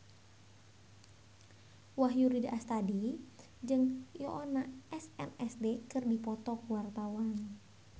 Wahyu Rudi Astadi jeung Yoona SNSD keur dipoto ku wartawan